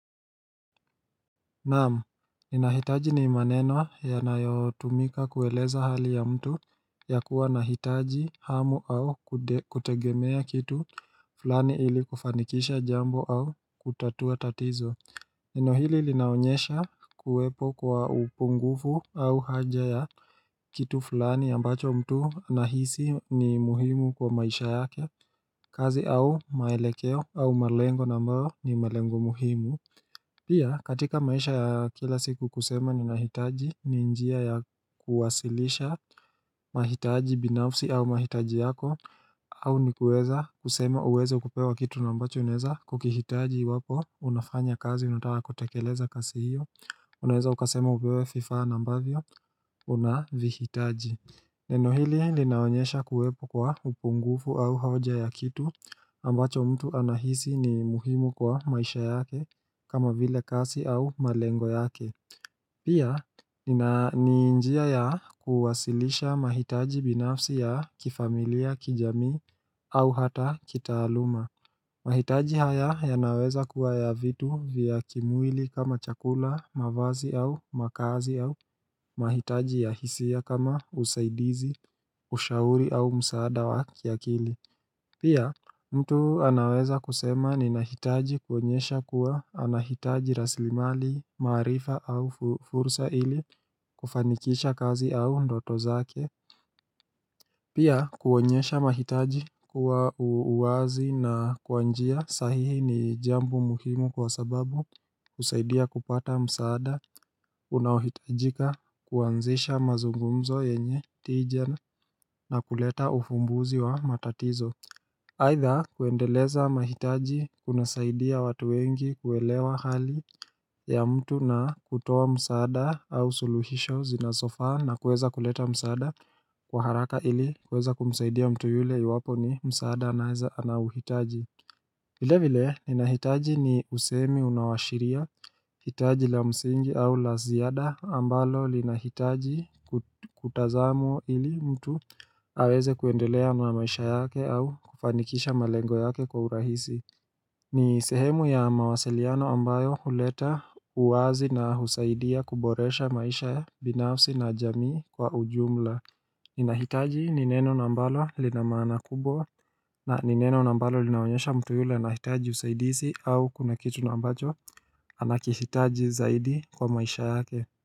Naam, ninahitaji ni maneno yanayotumika kueleza hali ya mtu ya kuwa nahitaji hamu au kutegemea kitu flani ili kufanikisha jambo au kutatua tatizo Neno hili linaonyesha kuwepo kwa upungufu au haja ya kitu flani ambacho mtu nahisi ni muhimu kwa maisha yake kazi au maelekeo au malengo na ambao ni malengo muhimu Pia katika maisha ya kila siku kusema ninahitaji ni njia ya kuwasilisha mahitaji binafsi au mahitaji yako au ni kueza kusema uweze kupewa kitu na ambacho unaeza kukihitaji iwapo unafanya kazi unataka kutekeleza kasi hiyo Unaeza ukasema upewe fifaa na ambavyo unavihitaji Neno hili linaonyesha kuwepo kwa upungufu au hoja ya kitu ambacho mtu anahisi ni muhimu kwa maisha yake kama vile kasi au malengo yake Pia ni njia ya kuwasilisha mahitaji binafsi ya kifamilia kijamii au hata kitaaluma mahitaji haya yanaweza kuwa ya vitu vya kimwili kama chakula, mavazi au makazi au. Mahitaji ya hisia kama usaidizi, ushauri au msaada wa kiakili. Pia mtu anaweza kusema ninahitaji kuonyesha kuwa anahitaji raslimali, maarifa au fursa ili kufanikisha kazi au ndoto zake. Pia kuonyesha mahitaji kwa uwazi na kwa njia sahihi ni jambo muhimu kwa sababu husaidia kupata msaada unaohitajika kuanzisha mazungumzo yenye tija na kuleta ufumbuzi wa matatizo Aidha, kuendeleza mahitaji kunasaidia watu wengi kuelewa hali ya mtu na kutoa msaada au suluhisho zinasofaa na kueza kuleta msaada kwa haraka ili kueza kumsaidia mtu yule iwapo ni msaada anauhitaji vile vile ninahitaji ni usemi unaoashiria, hitaji la msingi au la ziada ambalo linahitaji kutazamwa ili mtu aweze kuendelea na maisha yake au kufanikisha malengo yake kwa urahisi. Ni sehemu ya mawasiliano ambayo huleta uwazi na husaidia kuboresha maisha binafsi na jamii kwa ujumla. Ninahitaji ni neno na ambalo lina maana kubwa na ni neno na smbalo linaonyesha mtu yule anahitaji usaidizi au kuna kitu na ambacho anakihitaji zaidi kwa maisha yake.